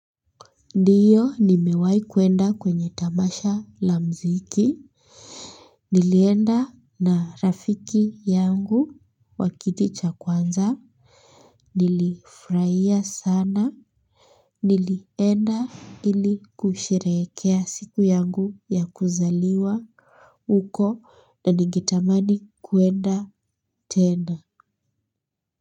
Ndio nimewahi kuenda kwenye tamasha la muziki nilienda na rafiki yangu wa kiti cha kwanza nilifurahia sana, nilienda ili kusherehekea siku yangu ya kuzaliwa huko na ningetamani kuenda tena.